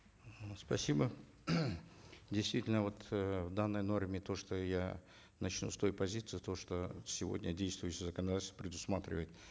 спасибо действительно вот э в данной норме то что я начну с той позиции то что сегодня действующее законодательство предусматривает